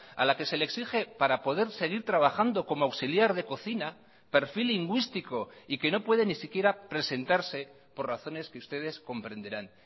a la que se le exige para poder seguir trabajando como auxiliar de cocina perfil lingüístico y que no puede ni siquiera presentarse por razones que ustedes comprenderán